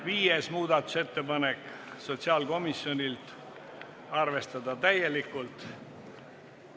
Viies muudatusettepanek on sotsiaalkomisjonilt, arvestatud täielikult.